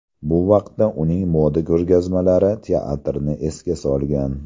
Bu vaqtda uning moda ko‘rgazmalari teatrni esga solgan.